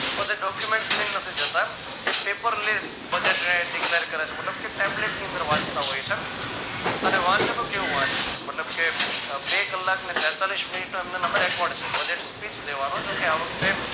બધા document લઈ ને નથી જતા એ paper list મતલબ કે ટેબલેટની અંદર વાંચતા હોય છે અને વાંચે તો કેવું વાંચે મતલબ કે બે કલાક ને તેતાલીશ મિનિટ માં એમને નંબર budgetspeech દેવાનો જો કે આ વખતે